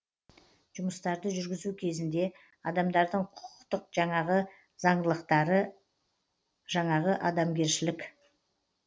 жұмыстарды жүргізу кезінде адамдардың құқықтық жаңағы жаңағы адамгершілік гуманность